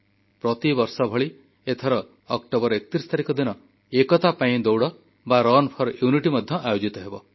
ପ୍ରତିବର୍ଷ ଭଳି ଏଥର ଅକ୍ଟୋବର 31 ତାରିଖ ଦିନ ଏକତା ପାଇଁ ଦୌଡ଼ ମଧ୍ୟ ଆୟୋଜିତ ହେବ